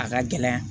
A ka gɛlɛn